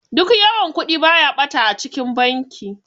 Duk yawan Kudi baya bata a cikin banki.